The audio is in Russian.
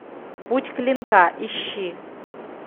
путь клинка ищи